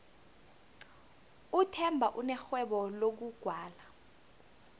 uthemba unerhwebo lokugwala